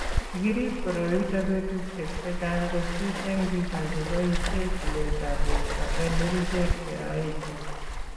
Kikirip koroi ito betushiek chechang' kosir eng' biko che boishe chuletab borto eng' kerichek che aichin.